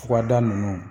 Furada ninnu